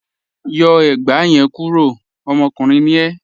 Yọ ẹ̀gbà yẹn kúró, ọmọkùnrin ni e